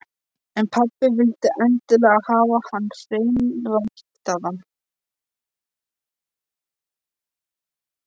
En pabbi vildi endilega hafa hann hreinræktaðan.